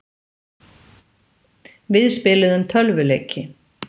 Við spiluðum tölvuleiki.